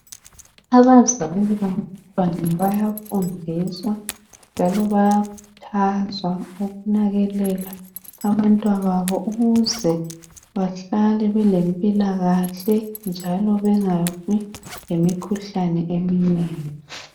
Abazali babantwana bayafundiswa njalo bayakhuthazwa ukunakekela abantwana babo ukuze bahlale belempilakahle njalo bengabi lemikhuhlane eminengi